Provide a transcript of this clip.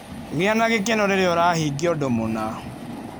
Gĩa na gĩkeno rĩrĩa ũrahingia ũndũ mũna.